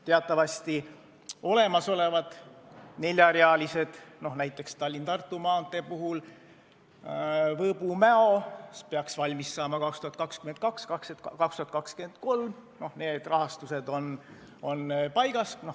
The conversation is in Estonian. Teatavasti on olemasolevate neljarealiste, näiteks Tallinna–Tartu maantee puhul Võõbu–Mäo lõik, mis peaks valmis saama 2022–2023, rahastus paigas.